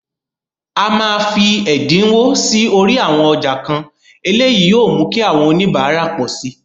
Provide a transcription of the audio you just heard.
A máa fi ẹ̀dínwó sí orí àwọn ọjà kan, eléyìí yóò mú kí àwọn oníbàárà pọ̀ síi.